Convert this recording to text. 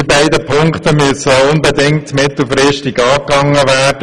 Diese beiden Punkte müssen mittelfristig unbedingt angegangen werden.